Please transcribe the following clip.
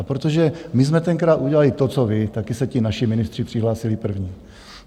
A protože my jsme tenkrát udělali to co vy, také se ti naši ministři přihlásili první.